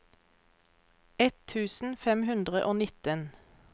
ett tusen fem hundre og nitten